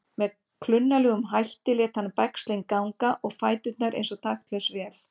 Með klunnalegum hætti lét hann bægslin ganga og fæturnir eins og taktlaus vél.